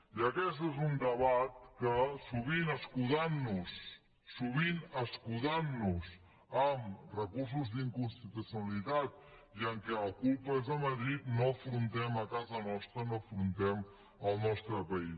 i aquest és un debat que sovint escudant nos en recursos d’inconstitucionalitat i que la culpa és de madrid no afrontem a casa nostra no afrontem al nostre país